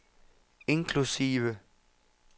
inklusive